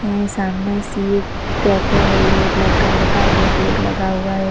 है सामने सिट कैफ़े है ये ब्लैक कलर का बो बोर्ड लगा हुआ है।